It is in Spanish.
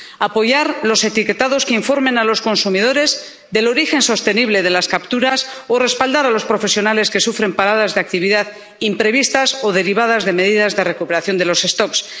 apoyar los etiquetados que informen a los consumidores del origen sostenible de las capturas o respaldar a los profesionales que sufren paradas de actividad imprevistas o derivadas de medidas de recuperación de las poblaciones.